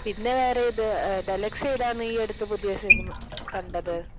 പിന്നെ വേറേ ഏത്, ദലക്ഷ് ഏതാണ് ഈ അടുത്ത പുതിയ സിനിമ കണ്ടത്?